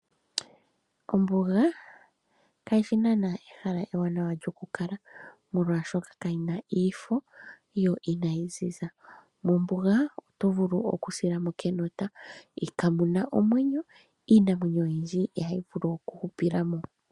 Ombuga kashishi naana ehala ewanawa nokukala molwaashokakamuna omafo yo Ina yi ziza. Mombuga otovulu okusilamo kenota kamuna omwenyo . iinamwenyo oyindji I ha yivulu oku hupilamo.